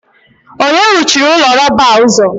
onye ruchiri ụlọ rọba a ụzọ?